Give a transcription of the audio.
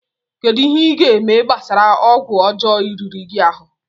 Kedu ihe ị ga-eme gbasara ọgwụ ọjọọ riri gị ahụ?